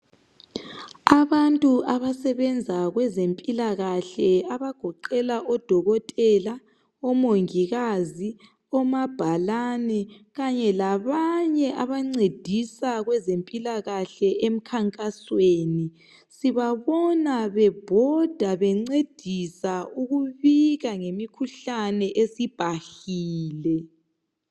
Abantu abasebenza kwezempilakahle abagoqela odokotela, omongikazi omabhalani kanye labanye abancedisa kwezempilakahle emkhankasweni sibabona bebhoda bencedisa ukubika ngemikhuhlane esibhahile.